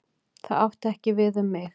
Það átti ekki við um mig.